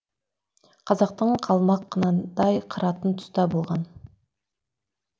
қазақты қалмақ қынадай қыратын тұста болған